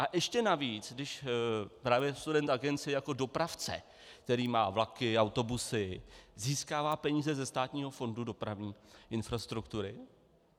A ještě navíc, když právě Student Agency jako dopravce, který má vlaky, autobusy získává peníze ze Státního fondu dopravní infrastruktury.